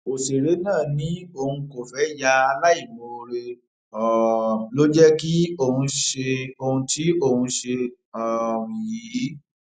ọsẹrẹ náà ni òun kò fẹẹ ya aláìmoore um ló jẹ kí òun ṣe ohun tí òun ṣe um yìí